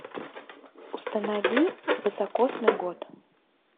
установи високосный год